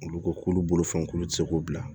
Olu ko k'olu bolofɛn k'olu ti se k'o bila